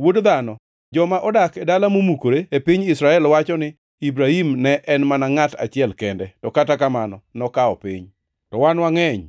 “Wuod dhano, joma odak e dala momukore e piny Israel wacho ni, ‘Ibrahim ne en mana ngʼat achiel kende, to kata kamano nokawo piny. To wan wangʼeny,